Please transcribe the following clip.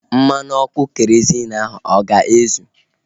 Mmanụ ọkụ kerozịn ahu ọ ga-ezu?